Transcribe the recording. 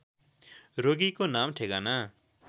रोगीको नाम ठेगाना